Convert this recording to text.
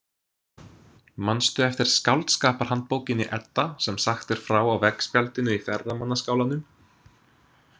Manstu eftir skáldskaparhandbókinni, Edda, sem sagt er frá á veggspjaldinu í ferðamannaskálanum?